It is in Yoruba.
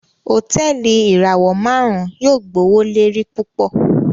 Hotẹẹli ìràwọ márùn yóò gbowolori púpọ